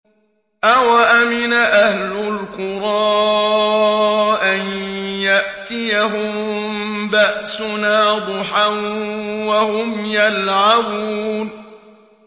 أَوَأَمِنَ أَهْلُ الْقُرَىٰ أَن يَأْتِيَهُم بَأْسُنَا ضُحًى وَهُمْ يَلْعَبُونَ